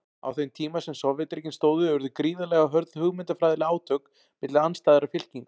Á þeim tíma sem Sovétríkin stóðu urðu gríðarlega hörð hugmyndafræðileg átök milli andstæðra fylkinga.